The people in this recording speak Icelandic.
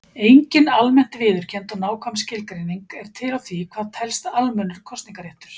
Engin almennt viðurkennd og nákvæm skilgreining er til á því hvað telst almennur kosningaréttur.